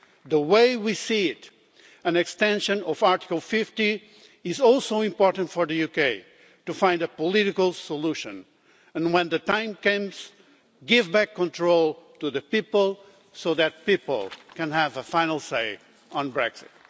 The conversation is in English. The way we see it, an extension of Article 50 is also important for the UK to find a political solution and, when the time comes, to give control back to the people so that people can have a final say on Brexit.